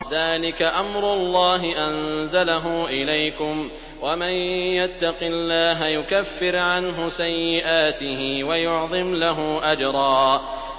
ذَٰلِكَ أَمْرُ اللَّهِ أَنزَلَهُ إِلَيْكُمْ ۚ وَمَن يَتَّقِ اللَّهَ يُكَفِّرْ عَنْهُ سَيِّئَاتِهِ وَيُعْظِمْ لَهُ أَجْرًا